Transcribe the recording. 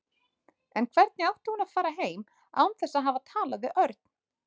En hvernig átti hún að fara heim án þess að hafa talað við Örn?